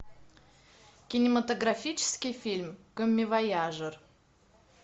кинематографический фильм коммивояжер